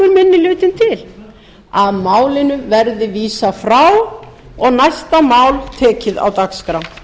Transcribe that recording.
hlutinn til að málinu verði vísað frá og næsta mál tekið á dagskrá